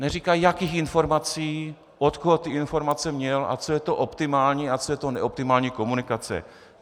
Neříká, jakých informací, od koho ty informace měl a co je to optimální a co je to neoptimální komunikace.